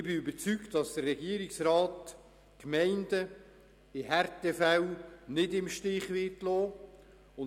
Ich bin überzeugt, dass der Regierungsrat die Gemeinden in Härtefällen nicht im Stich lassen wird;